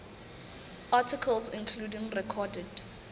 articles including recorded